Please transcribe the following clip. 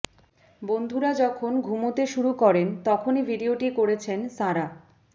বন্ধুরা যখন ঘুমোতে শুরু করেন তখনই ভিডিওটি করেছেন সারা